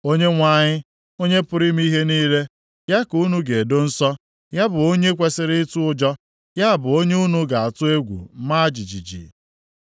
Onyenwe anyị, Onye pụrụ ime ihe niile, ya ka unu ga-edo nsọ. Ya bụ onye unu kwesiri ịtụ ụjọ. Ya bụ onye unu ga-atụ egwu ma jijiji.